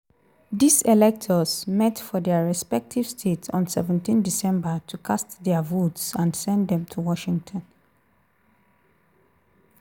dis electors meet for dia respective states on seventeendecember to cast dia votes and send dem to washington.